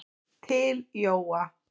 Til Jóa.